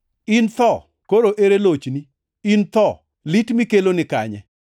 In tho, koro ere lochni? In tho, lit mikelo ni kanye? + 15:55 \+xt Hos 13:14\+xt*